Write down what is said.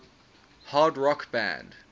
hard rock band